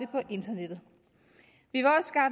på internettet